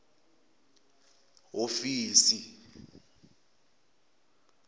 hofisi